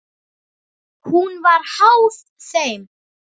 Hún var háð þeim.